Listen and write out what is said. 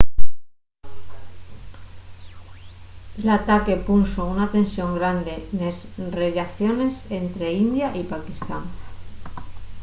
l’ataque punxo una tensión grande nes rellaciones ente india y paquistán